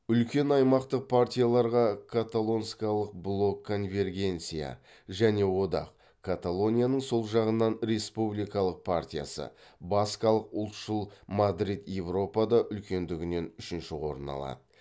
үлкен аймақтық партияларға каталонскалық блок конвергенция және одақ каталонияның сол жағынан республикалық партиясы баскалық ұлтшыл мадрид европада үлкендігінен үшінші орын алады